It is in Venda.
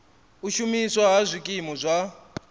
u shumiswa ha zwikimu zwa